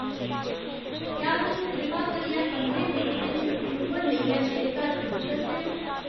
क्या तुस कृपा करियै पंदरें मिंटें च ऊबर लेइयै मेरे घर पुज्जी सकदे ओ